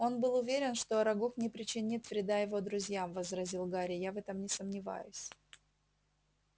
он был уверен что арагог не причинит вреда его друзьям возразил гарри я в этом не сомневаюсь